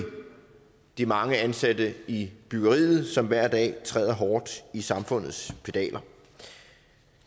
de mange ansatte i byggeriet som hver dag træder hårdt i samfundets pedaler